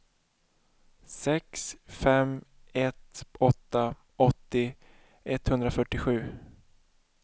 sex fem ett åtta åttio etthundrafyrtiosju